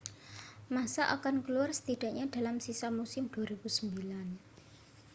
massa akan keluar setidaknya dalam sisa musim 2009